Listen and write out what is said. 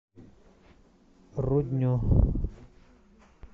рудню